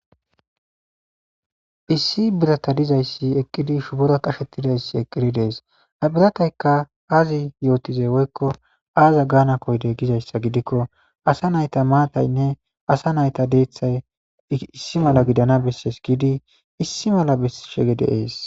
issi birata dizayssi eqqidi shubora qashetidayssi eqqidi dees abiratayka aazi yootizey woykko aaza gaana koydey gizayssa gidikko asa nayta maataynne asa nayta deeththay issi mala gidana bessees giidi issi mala beshege deees